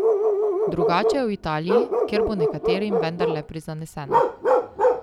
Drugače je v Italiji, kjer bo nekaterim vendarle prizaneseno.